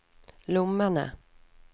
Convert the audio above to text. lommene